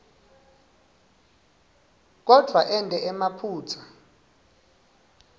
kodvwa ente emaphutsa